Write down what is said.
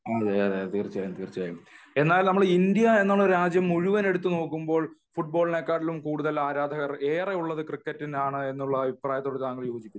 അതെയതെ തീർച്ചയായും എന്നാൽ നമ്മളെ ഇന്ത്യ എന്ന രാജ്യം മുഴുവൻ എടുത്തു നോക്കുമ്പോൾ ഫുടബോളിനേക്കാളും കൂടുതൽ ആരാധകർ ക്രിക്കറ്റിനാണ് എന്ന അഭിപ്രായത്തോട് താങ്കൾ യോജിക്കുന്നുണ്ടോ